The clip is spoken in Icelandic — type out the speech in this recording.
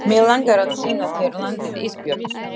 Mig langar að sýna þér landið Ísbjörg.